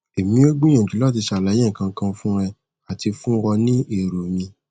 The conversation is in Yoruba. emi o gbiyanju lati ṣalaye nkankan fun e ati fun ọ ni ero mi